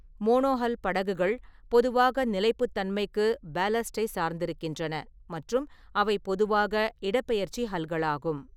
Monohull படகுகள் பொதுவாக நிலைப்புத்தன்மைக்கு பேல்லஸ்ட்டை சார்ந்திருக்கின்றன மற்றும் அவை பொதுவாக இடப்பெயர்ச்சி ஹல்களாகும்.